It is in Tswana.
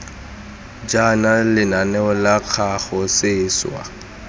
jaana lenaneo la kago seswa